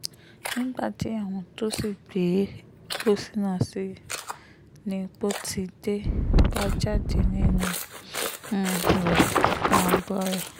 nígbà tí àwọn tó sì gbé um pósí náà sí i ni pọ́tidé bá jáde nínú um rẹ̀ ganbọrọ